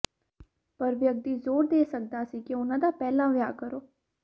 ਪਰ ਵਿਅਕਤੀ ਜ਼ੋਰ ਦੇ ਸਕਦਾ ਸੀ ਕਿ ਉਨ੍ਹਾਂ ਦਾ ਪਹਿਲਾਂ ਵਿਆਹ ਕਰੋ